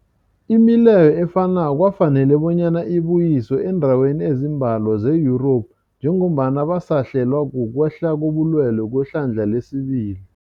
Imileyo efanako kwafanela bonyana ibuyiswe eendaweni ezimbalwa ze-Yurophu njengombana basahlelwa kukwehla kobulwele kwehlandla lesibili.